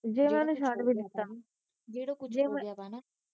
ਜੇ ਮੈ ਓਹਨੂੰ ਛੱਡ ਵੀ ਦਿੱਤਾ ਜਿਹੜਾ ਕੁਛ ਆ ਮੈ